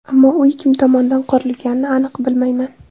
Ammo uy kim tomonidan qurilganini aniq bilmayman.